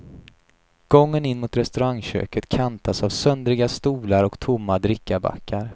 Gången in mot restaurangköket kantas av söndriga stolar och tomma drickabackar.